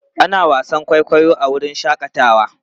Ana wasan kwaikwayo a wurin shakatawa.